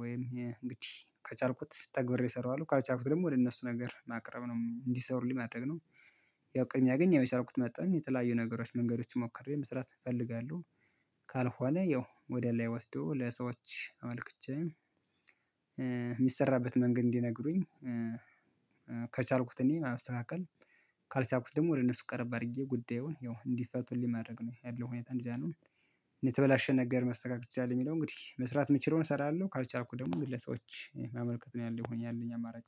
ወይም እንግዲህ ከቻልኩት ተግብሬ እሰራዋለሁ ካልቻልኩት ደግሞ ወደ እነሱ ነገር ማቅረብ ነው እንዲሰሩልኝ ማድረግ ነው። ያው ቅድምያ ገኘኸውትን መጠን የተለያዩ ነገሮች መንገዶች ሞክሬ መስራት እፈልጋለሁ። ካልሆነ ያው ወደ ላይ ወስዶ ለሰዎች አመልክቼ የሚሰራበት መንገድ እንዲነግሩኝ። ከቻልኩት እኔ ማስተካከል ካልቻልኩት ደግሞ ወደ እነሱ ቀረብ አድርጌ ጉዳዩን ያው እንዲፈቱልኝ ማድረግ ነው ያለው ሁኔታ እንደዛ ነው። አልሆንም ነገር መስተካከል ይቻላል የሚለው እንግዲህ መስራት የምችለውን እሰራለሁ ካልቻልኩኝ ደግሞ ግለሰዎች ማመልከት ነው ያለኝ ሆኝ አማራጭ